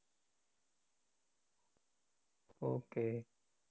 Okay